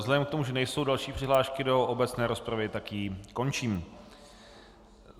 Vzhledem k tomu, že nejsou další přihlášky do obecné rozpravy, tak ji končím.